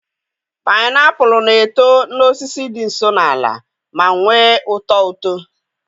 painiapulu na-eto n'osisi dị nso n'ala ma nwee ụtọ uto.